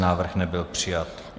Návrh nebyl přijat.